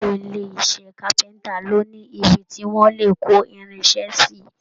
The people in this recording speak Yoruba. Gbogbo ilé iṣẹ́ kápẹ́ntà ló ní ibi tí wọ́n le kó irin iṣẹ́ sí.